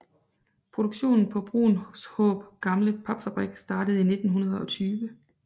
Produktionen på Bruunshaab Gamle Papfabrik startede i 1920